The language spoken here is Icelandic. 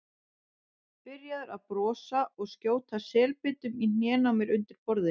Byrjaður að brosa og skjóta selbitum í hnén á mér undir borðinu.